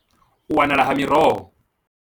U wanala ha miroho.